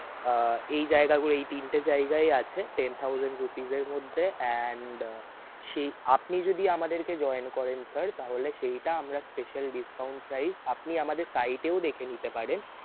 আহ এই জায়গাগুলো এই তিনটি জায়গাই আছে Ten Thousand Rupees এর মধ্যে and সেই আপনি যদি আমাদেরকে join করেন sir তাহলে সেইটা আমরা special discount price আপনি আমাদের site এও দেখে নিতে পারেন.